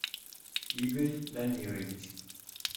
игорь дамирович